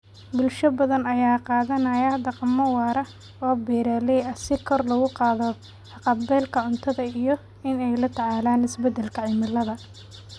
Bulsho badan ayaa qaadanaya dhaqammo waara oo beeraley ah si kor loogu qaado haqab-beelka cuntada iyo in ay la tacaalaan isbeddelka cimilada.